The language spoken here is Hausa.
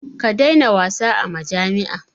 Ka daina wasa a majami'a.